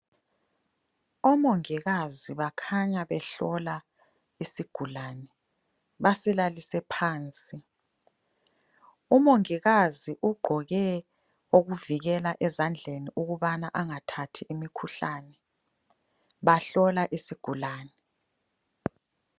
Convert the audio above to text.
Omongikazi bakhanya behlola isigulane basilalise phansi. Umongikazi ugqoke okuvikela ezandleni ukubana angathathi imikhuhlane bahlola isigulane.